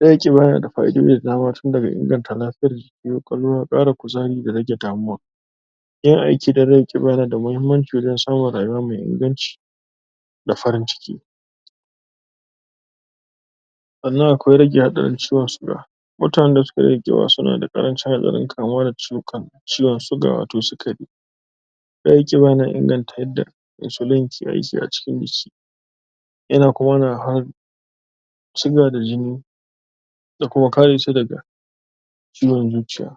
Rage ƙiba yana da fa'idoji da dama, tun daga inganta lafiyar jiki, ƙwaƙwalwa, ƙara kuzari da rage damuwa. Yawan aiki da rage ƙiba yana da muhimmanci wajen samun rayuwa mai inganci. da farin ciki. Sannan akwai rage hatsarin ciwon siga Mutanen da suka rage ƙiba suna ƙarancin hatsarin kamuwa da ciwukan, ciwaon siga wata sikari. Rage ƙiba yana inganta yadda "Isoline" de aiki a cikin jiki. Yana kuma siga da jini ya kuma kare shi daga ciwon zuciya.